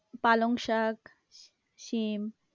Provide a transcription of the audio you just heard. পালং শাক, সীম